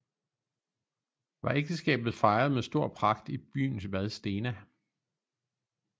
Var ægteskabet fejret med stor pragt i byen vadstena